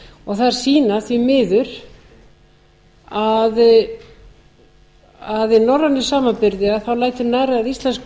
og þær sýna því miður að í norrænum samanburði lætur nærri að íslensk börn